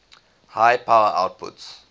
high power outputs